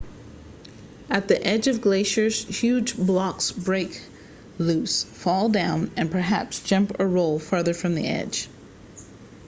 at the edge of glaciers huge blocks break loose fall down and perhaps jump or roll farther from the edge